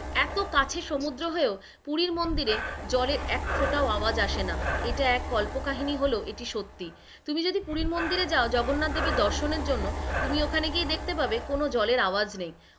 এত কাছে সমুদ্র হয়েও পুরীর মন্দিরে জলের এক ফোটাও আওয়াজ আসেনা, এটা এক কল্পকাহিনী হলেও এটি সত্যি, তুমি যদি পুরীর মন্দিরে যাও জগন্নাথদেব এর দর্শনের জন্য, তুমি ওখানে গিয়ে দেখতে পাবে কোন জলের আওয়াজ নেই,